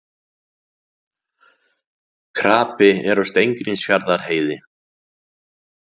Krapi er á Steingrímsfjarðarheiði